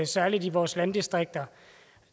særlig i vores landdistrikter